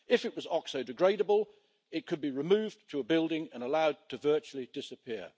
If it was oxo degradable it could be removed to a building and allowed virtually to disappear.